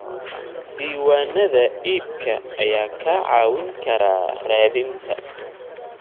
Diiwaanada iibka ayaa kaa caawin kara raadinta.